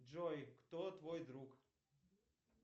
джой кто твой друг